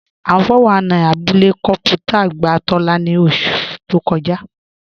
Awọ́n 419 ni àbúlẹ̀ kọnpútà gbà Tóla ni ọṣu tó kọ́jà